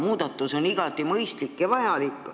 Muudatus on igati mõistlik ja vajalik.